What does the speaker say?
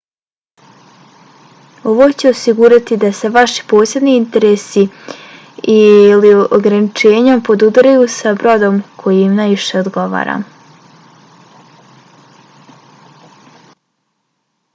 ovo će osigurati da se vaši posebni interesi i/ili ograničenja podudaraju sa brodom koji im najviše odgovara